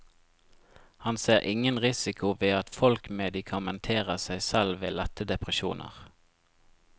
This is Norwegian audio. Han ser ingen risiko ved at folk medikamenterer seg selv ved lette depresjoner.